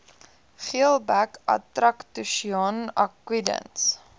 geelbek atractoscion aquidens